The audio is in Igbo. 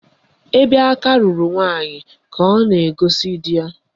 Ebe aka ruru nwaanyị ka ọ na-ekosa di ya.